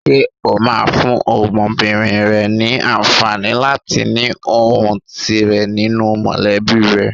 Ṣé o máa fún ọmọbìnrin rẹ ní àǹfààní láti ní ohùn tirẹ̀ nínú mọ̀lẹ́bí rẹ?